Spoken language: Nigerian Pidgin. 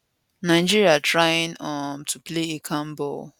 nigeria trying um to play a calm ball